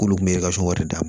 K'olu kun bɛ wari da